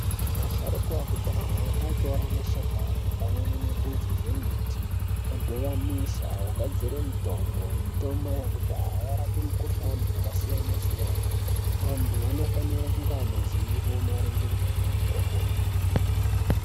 Asharuka akudhaya aitora mashakani pamwe nemphudzi dzemiti odhivanisa ogadzire mitombo, mitombo yekudhaya yairape mikuhlani yakasiyana siyana antu anofanira kunga ane ziwo maringe ngezvemitombo iyi.